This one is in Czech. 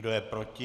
Kdo je proti?